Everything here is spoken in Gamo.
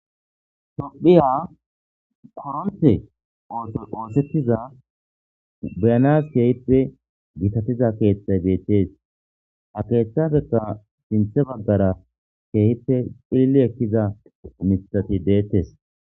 tophiya poronthe oto oosettiza buyanas keehippe giitatiza keeththay deettees ha keeththabekka sinthe baggara keehippe philli ekkiza misati deettes